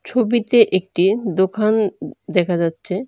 ছবিতে একটি দোখান উ দেখা যাচ্ছে।